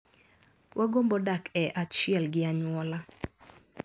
Wagombo dak e achiel gi anyuola.